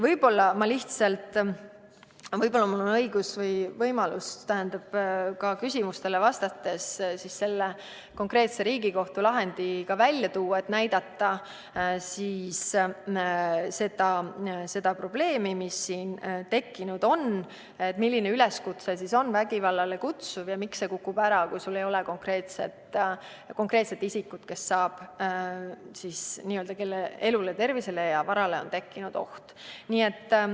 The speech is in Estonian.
Võib-olla on mul võimalus küsimustele vastates ka üks konkreetne Riigikohtu lahend välja tuua, et näidata seda probleemi, mis siin on tekkinud – milline üleskutse on vägivallale kutsuv ja miks see kukub ära, kui sul ei ole konkreetset isikut, kelle elule, tervisele või varale on tekkinud oht.